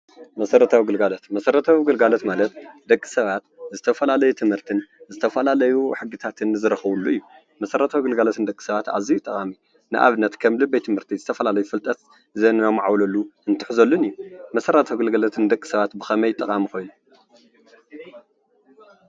መሰረታዊ ግልጋሎት መሰረታዊ ግልጋሎት ማለት ደቂ ሰባት ዝተፈላለዩ ትምህርትን ዝተፈላለዩ ሕግታትን ዝረኽብሉ እዩ:: መሰረታዊ ግልጋሎት ንደቂ ሰባት ኣዝዩ ጠቓሚ ንኣብነት ከም ቤት ትምህርቲ ዝተፈላለዩ ፍልጠት ዘማዕብልሉ እንትሕዘሉን እዩ:: መሰረታዊ ግልጋሎት ንደቂ ሰባት ብኸመይ ጠቓሚ ኮይኑ?